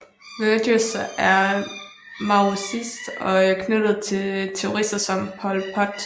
Vergès var maoist og knyttet til terrorister som Pol Pot